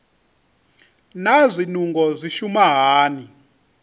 naa zwinungo zwi shuma hani